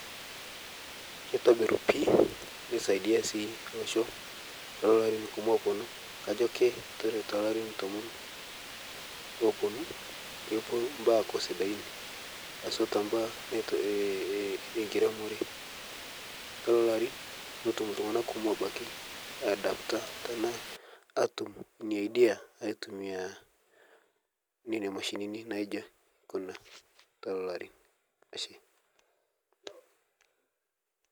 Keitobir pii neisaidia sii losho tololo ari kumo looponu kajo ake kore telarin tomon looponu kepo baa aaku siadain, haswa tebaa nato eh eh enkiremore, telolo arin netum ltung'ana kumo abaki aiadapita tanaa atum inia idea aitumiyaa neina mashinini naijo kuna telolo arin ashe.